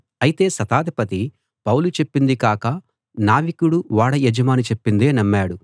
అయితే శతాధిపతి పౌలు చెప్పింది కాక నావికుడు ఓడ యజమాని చెప్పిందే నమ్మాడు